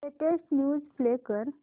latest news play कर